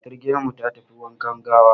Matar gidanmu ta tafi wankan gawa.